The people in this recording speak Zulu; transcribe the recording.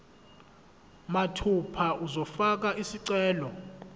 mathupha uzofaka isicelo